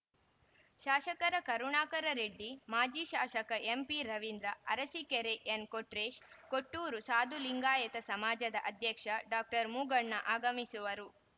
ಶಾಸಕರ ಕರುಣಾಕರರೆಡ್ಡಿ ಮಾಜಿ ಶಾಸಕ ಎಂಪಿರವೀಂದ್ರ ಅರಸಿಕೆರೆ ಎನ್‌ಕೊಟ್ರೇಶ್‌ ಕೊಟ್ಟೂರು ಸಾದುಲಿಂಗಾಯತ ಸಮಾಜದ ಅಧ್ಯಕ್ಷ ಡಾಕ್ಟರ್ ಮೂಗಣ್ಣ ಆಗಮಿಸುವರು